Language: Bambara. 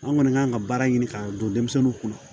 An kɔni k'an ka baara ɲini k'a don denmisɛnninw kunna